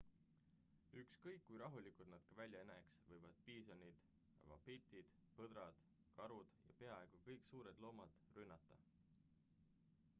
ükskõik kui rahulikud nad ka välja ei näeks võivad piisonid vapitid põdrad karud ja peaaaegu kõik suured loomad rünnata